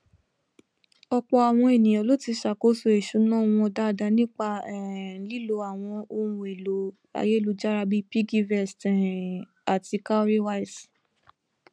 ọpọ àwọn ènìyàn ló ti ṣàkóso ìṣúná wọn dáadáa nípa um lílo àwọn ohunèlò ayélujára bíi piggyvest um àti cowrywise